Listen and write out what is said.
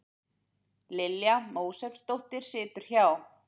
Lilja Mósesdóttir situr hjá